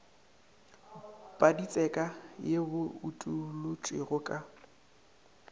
paditseka ye bo utolotšwego ka